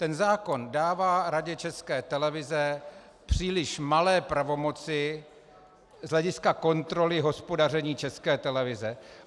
Ten zákon dává Radě České televize příliš malé pravomoci z hlediska kontroly hospodaření České televize.